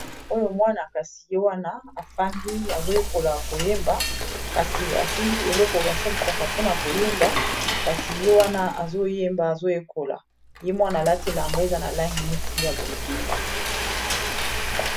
oyo mwana kasi ye wana afandi azoyekola koyemba kasi asimbi eloko basalisaka po na koyemba kasi ye wana azoyemba azoyekola ye mwana alatila elamba eza na langi neti ya bozinga.